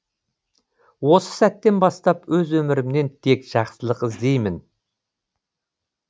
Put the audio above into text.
осы сәттен бастап өз өмірімнен тек жақсылық іздеймін